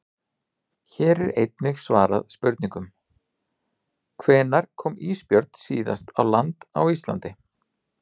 Hér er einnig svarað spurningunum: Hvenær kom ísbjörn síðast á land á Íslandi?